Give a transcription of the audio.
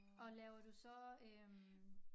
Og laver du så øh